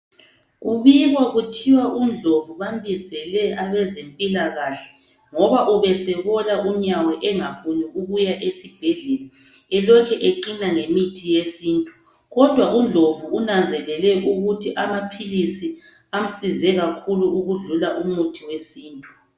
Kubikwa kuthiwa uNdlovu bambizele abezempilakahle ngoba ubesebola unyawo engafuni ukuya esibhedlela elokhe eqina ngemithi yesintu. Kodwa uNdlovu unanzelele ukuthi amaphilisi amsize kakhulu ukwedlula umuthi yesintu.